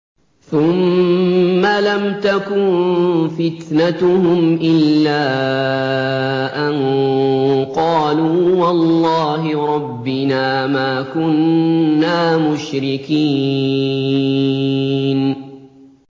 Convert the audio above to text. ثُمَّ لَمْ تَكُن فِتْنَتُهُمْ إِلَّا أَن قَالُوا وَاللَّهِ رَبِّنَا مَا كُنَّا مُشْرِكِينَ